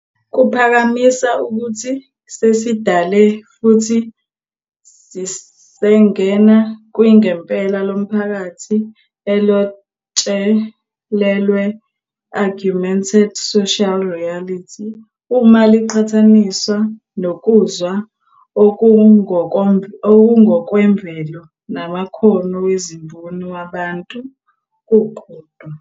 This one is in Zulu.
Kuphakamisa ukuthi sesidale futhi sisengena kwinGempela lomphakathi elojotshelelwe "augmented social reality" uma liqhathaniswa nokuzwa okungokwemvelo namakhono wezimboni wabantu kukodwa.